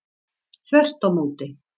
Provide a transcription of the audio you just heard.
Þvert á móti.